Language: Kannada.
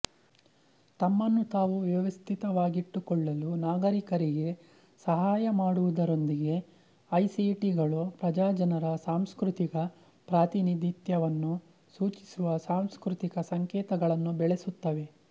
ತಮ್ಮನ್ನು ತಾವು ವ್ಯವಸ್ಥಿತವಾಗಿಟ್ಟುಕೊಳ್ಳಲು ನಾಗರಿಕರಿಗೆ ಸಹಾಯ ಮಾಡುವುದರೊಂದಿಗೆ ಐಸಿಟಿಗಳು ಪ್ರಜಾಜನರ ಸಾಂಸ್ಕೃತಿಕ ಪ್ರಾತಿನಿಧಿತ್ಯವನ್ನು ಸೂಚಿಸುವ ಸಾಂಸ್ಕೃತಿಕ ಸಂಕೇತಗಳನ್ನು ಬೆಳೆಸುತ್ತವೆ